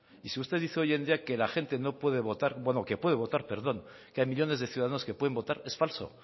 y si usted dice hoy en día que la gente no puede votar bueno que puede votar perdón que hay millónes de ciudadanos que pueden votar es falso